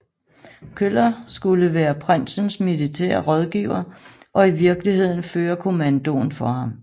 Köller skulle være prinsens militære rådgiver og i virkeligheden føre kommandoen for ham